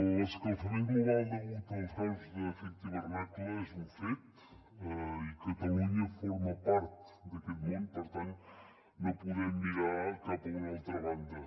l’escalfament global degut als gasos d’efecte hivernacle és un fet i catalunya forma part d’aquest món per tant no podem mirar cap a una altra banda